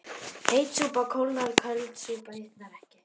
Heit súpa kólnar köld súpa hitnar ekki